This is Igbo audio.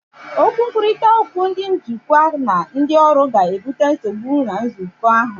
Okwu nkwurịta okwu ndị njikwa na ndị ọrụ ga-ebute nsogbu na nzukọ ahụ.